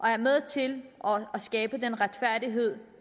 er med til at skabe den retfærdighed